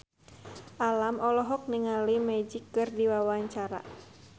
Alam olohok ningali Magic keur diwawancara